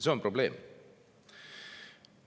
See on probleem.